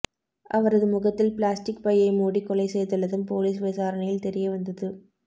அவரது முகத்தில் பிளாஸ்டிக் பையை மூடி கொலை செய்துள்ளதும் பொலிஸ் விசாரணையில் தெரிய வந்தது